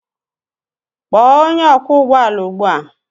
Kpọọ onye ọkwọ ụgbọala ugbu a!